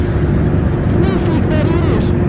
слушай игнорируешь